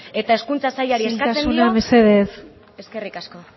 eta hezkuntza sailari eskatzen dio